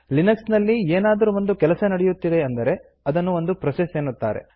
Linux ನಲ್ಲಿ ಏನಾದರೂ ಒಂದು ಕೆಲಸ ನಡೆಯುತ್ತಿದೆ ಎಂದರೆ ಅದನ್ನು ಒಂದು ಪ್ರೋಸೆಸ್ ಎನ್ನುತ್ತಾರೆ